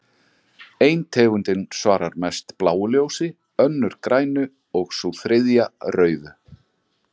Ein tegundin svarar mest bláu ljósi, önnur grænu og sú þriðja rauðu.